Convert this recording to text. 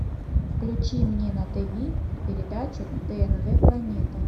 включи мне на тв передачу тнв планета